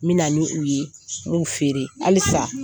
N bɛna na ni u ye n b'u feere halisa